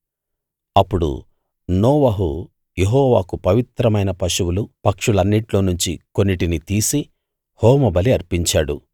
అప్పుడు నోవహు యెహోవాకు పవిత్రమైన పశువులు పక్షులన్నిట్లో నుంచి కొన్నిటిని తీసి హోమబలి అర్పించాడు